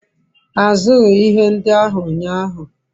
azughi ihe ndi ahu unyahu